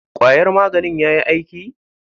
Kwayar maganin yayi aiki?